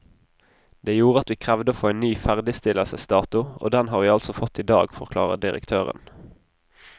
Det gjorde at vi krevde å få en ny ferdigstillelsesdato, og den har vi altså fått i dag, forklarer direktøren.